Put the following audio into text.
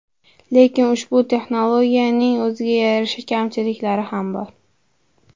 Lekin ushbu texnologiyaning o‘ziga yarasha kamchiliklari ham bor.